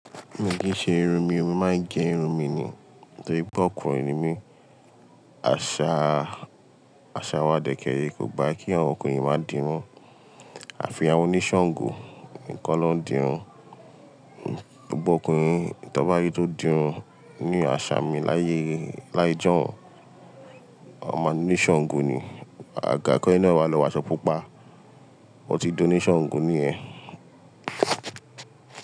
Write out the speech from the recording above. Mi kì í ṣe irun mi, mo máa ń kẹ irun mi ni. Tó rí pe ọkùnrin ni mí, àṣà, àṣà wa dẹ̀kẹ rẹ kò gba kí àwọn ọkùnrin máa di irun. Àfi àwọn oníṣàngó nìkan ló ń di irun. Gbogbo ọkùnrin tó n bá rí tó di irun ní àṣà mi láyé, láyé ijọ́un, wọ́n máa ní Ṣàngó ni. Àga ki eni na wa lọ́wọ́ aṣo pupa. O ti di oníṣàngó ni yẹn.